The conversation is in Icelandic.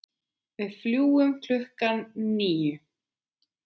Við fljúgum klukkan níu.